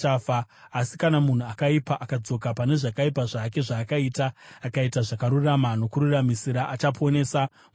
Asi kana munhu akaipa akadzoka pane zvakaipa zvake zvaakaita akaita zvakarurama nokururamisira, achaponesa mweya wake.